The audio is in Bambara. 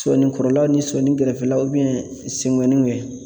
Sɔni kɔrɔlaw ni sɔni gɛrɛfɛlaw senŋɔniw